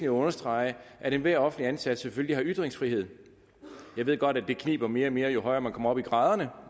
at understrege at enhver offentligt ansat selvfølgelig har ytringsfrihed jeg ved godt at det kniber mere og mere jo højere man kommer op i graderne